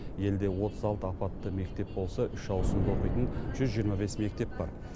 елде отыз алты апатты мектеп болса үш ауысымда оқитын жүз жиырма бес мектеп бар